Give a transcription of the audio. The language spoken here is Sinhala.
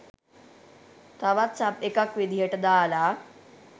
තවත් සබ් එකක් විදියට දාල